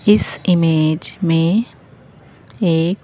इस इमेज में एक--